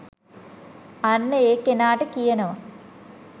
අන්න ඒ කෙනාට කියනව